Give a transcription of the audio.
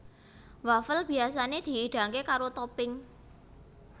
Wafel biyasané dihidangké karo topping